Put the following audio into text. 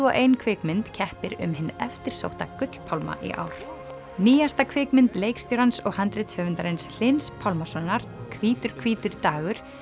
og ein kvikmynd keppir um hinn eftirsótta í ár nýjasta kvikmynd leikstjórans og Hlyns Pálmasonar hvítur hvítur dagur